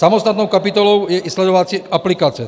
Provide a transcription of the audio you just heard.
Samostatnou kapitolou je i sledovací aplikace.